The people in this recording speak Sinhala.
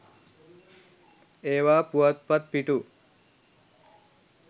ඒවා පුවත්පත් පිටු